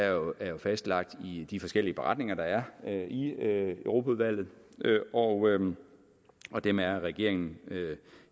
jo er fastlagt i de forskellige beretninger der er i europaudvalget og og dem er regeringen